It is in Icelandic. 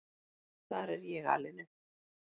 Þar er ég alin upp.